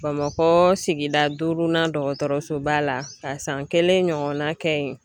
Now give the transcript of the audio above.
Bamakɔ sigida duurunan dɔgɔtɔrɔsoba la ka san kelen ɲɔgɔnna kɛ yen